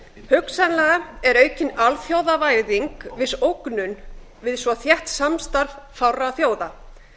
hugsanlega er aukin alþjóðavæðing viss ógnun við svo þétt samstarf fárra þjóða